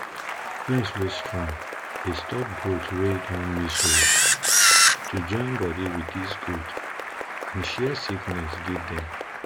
fence wey strong dey stop goat wey don miss road to join body with dis goat and share sickness give dem